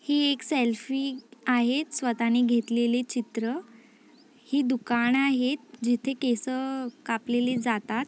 ही एक सेल्फी आहे स्वतः ने घेतलेली चित्र. ही दुकान आहेत जिथ केस कापलेली जातात.